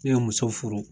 Ne ye muso furu